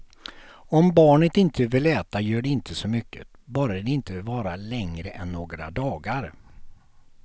Om barnet inte vill äta gör det inte så mycket, bara det inte varar längre än några dagar.